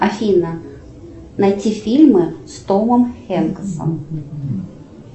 афина найти фильмы с томом хенксом